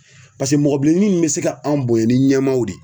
Paseke mɔgɔ bilenin me se ka anw bonya ni ɲɛmaaw de ye